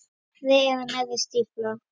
Efri og neðri stífla.